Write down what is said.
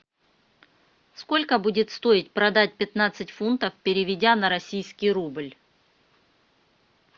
сколько будет стоить продать пятнадцать фунтов переведя на российский рубль